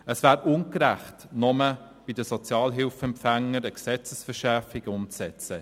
Es wäre ungerecht, nur bei den Sozialhilfeempfängern eine Gesetzesverschärfung umzusetzen.